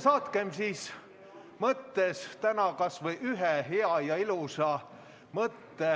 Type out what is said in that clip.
Saatkem siis mõttes kas või üks hea ja ilus mõte